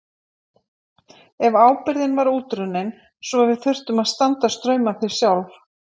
En ábyrgðin var útrunnin svo við þurftum að standa straum af því sjálf.